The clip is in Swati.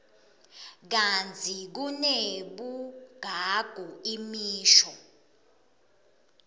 kantsi kunebugagu imisho